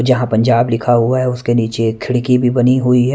जहां पंजाब लिखा हुआ है उसके नीचे खिड़की भी बनी हुई है--